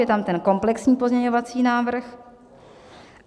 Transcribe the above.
Je tam ten komplexní pozměňovací návrh.